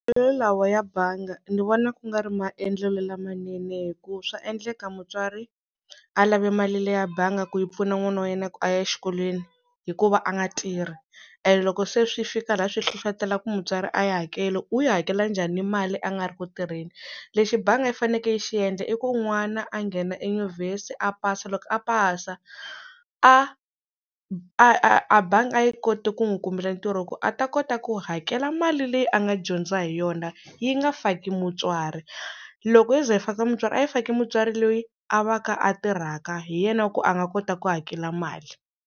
lawa ya bangi ni vona ku nga ri maendlelo lamanene hikuva swa endleka mutswari a lavi mali leya bangi ku yi pfuna n'wana wa yena ya ku a ya exikolweni hikuva a nga tirhi and loko se swi fika laha swi hlohlotela ku mutswari a yi hakeli u yi hakela njhani mali a nga ri ku tirheni lexi bangi yi fanekele yi xi endla i ku n'wana a nghena enyuvhesi a pasa loko a pasa a a a bangi a yi koti ku n'wi kumela ntirho ku a ta kota ku hakela mali leyi a nga dyondza hi yona yi nga faki mutswari loko yo ze yi faka mutswari a yi faki mutswari loyi a va ka a tirhaka hi yena ku a nga kota ku hakela mali.